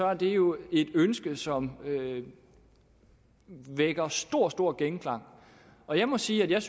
at det jo er et ønske som vækker stor stor genklang og jeg må sige at jeg